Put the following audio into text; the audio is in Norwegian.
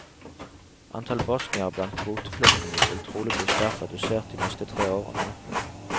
Antall bosniere blant kvoteflyktningene vil trolig bli sterkt redusert de neste tre årene.